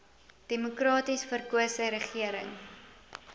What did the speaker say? demokraties verkose regering